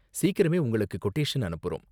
சீக்கிரமே உங்களுக்கு கொட்டேஷன் அனுப்புறோம்.